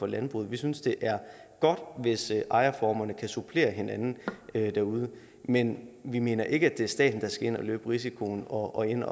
landbruget vi synes det er godt hvis ejerformerne kan supplere hinanden derude men vi mener ikke at det er staten der skal ind og løbe risikoen og gå ind